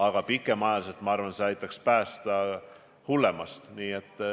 Aga pikemas perspektiivis aitaks eriolukord minu arvates päästa hullemast.